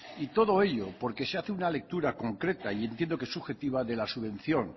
y todo ello porque se hace una lectura concreta y entiendo que subjetiva de la subvención